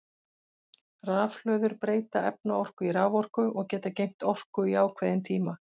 Rafhlöður breyta efnaorku í raforku og geta geymt orku í ákveðin tíma.